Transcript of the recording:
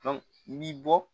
i bi bɔ